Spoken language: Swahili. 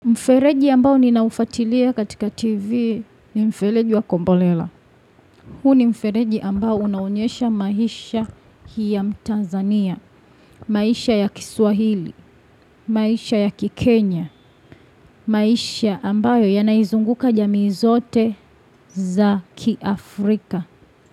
Mfereji ambao ninaufuatilia katika TV ni mfereji wa kombolela. Huu ni mfereji ambao unaonyesha maisha hii ya mtanzania, maisha ya kiswahili, maisha ya kikenya, maisha ambayo yanaizunguka jamii zote za kiafrika.